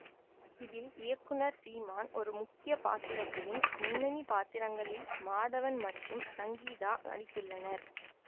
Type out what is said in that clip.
இதில் இயக்குனர் சீமான் ஒரு முக்கிய பாத்திரத்திலும் முன்னணி பாத்திரங்களில் மாதவன் மற்றும் சங்கீதா நடித்துள்ளனர்